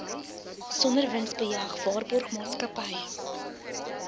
sonder winsbejag waarborgmaatskappy